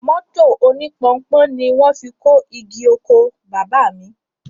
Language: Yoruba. Mọ́tò oní Pọnpọ́n ni wọ́n fi kó igi oko Baba mi